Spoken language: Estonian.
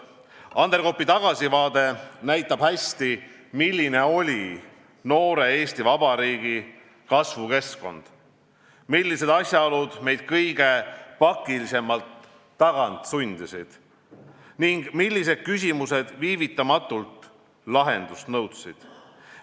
" Anderkopi tagasivaade näitab hästi, milline oli noore Eesti Vabariigi kasvukeskkond, millised asjaolud meid kõige pakilisemalt tagant sundisid ning millised küsimused viivitamatult lahendust nõudsid.